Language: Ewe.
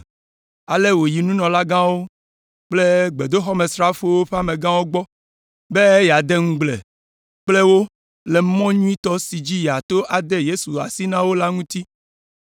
ale wòyi nunɔlagãwo kple gbedoxɔmesrafowo ƒe amegãwo gbɔ be yeade aɖaŋu kple wo le mɔ nyuitɔ si dzi yeato ade Yesu asi na wo la ŋuti.